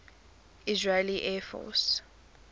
israeli air force